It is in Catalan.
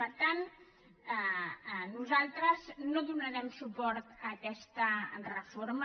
per tant nosaltres no donarem suport a aquesta reforma